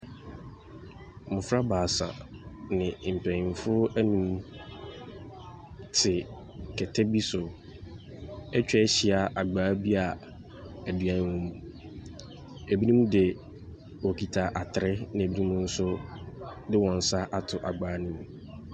Mmofra baasa ne mpanyimfoɔ nnum te kɛtɛ bi so atwa ahyia agbaa bi a aduane wɔ mu. Binom de wokita atere, na binom nso de wɔn nsa ato agbaa no mu.